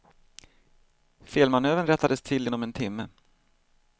Felmanövern rättades till inom en timme.